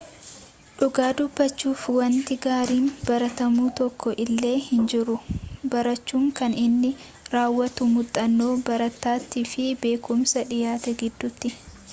dhugaa dubbachuuf wanti gaariin baratamu tokko illee hinjiru barachuun kan inni raawwatu muuxannoo barataatii fi beekumsa dhiyaate gidduutti